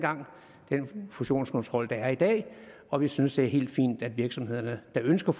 fusionskontrol der er i dag og vi synes det er helt fint at virksomheder der ønsker